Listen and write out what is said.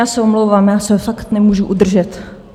Já se omlouvám, já se fakt nemůžu udržet.